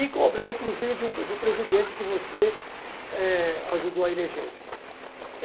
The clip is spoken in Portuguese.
E cobrar, inclusive, de um, do presidente que você, eh, ajudou a eleger.